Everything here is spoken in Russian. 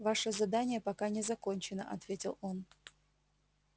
ваше задание пока не закончено ответил он